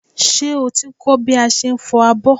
Ṣé o ti ń kọ́ bí a ṣe ń fọ abọ́?